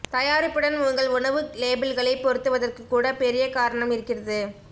தயாரிப்புடன் உங்கள் உணவு லேபிள்களை பொருத்துவதற்கு கூட பெரிய காரணம் இருக்கிறது